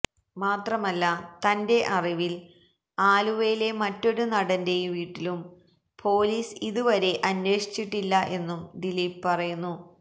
മാത്രമല്ല തന്റെ അറിവിൽ ആലുവയിലെ മറ്റൊരു നടന്റെയും വീട്ടിലും പോലീസ് ഇത് വരെ അന്വേഷിച്ചിട്ടില്ല എന്നും ദിലീപ് പറയുന്നു